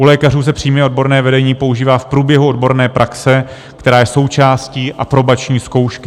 U lékařů se přímé odborné vedení používá v průběhu odborné praxe, která je součástí aprobační zkoušky.